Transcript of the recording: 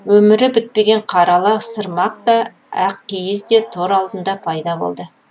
өмірі бітпеген қара ала сырмақ та ак киіз де тор алдында пайда болды